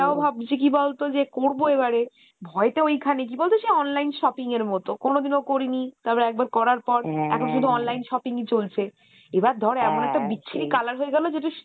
তো ভাবছি কি বলতো যে করবো এবারে ভয়তো ওখানে কি বলতো সে online shopping এর মতো কোনোদিন ও করি নি তারপর একবার করার পর এখন শুধু online shopping ই চলছে , এবার ধর এমন একটা বিচ্ছিরি colorহয়ে গেলো যেটা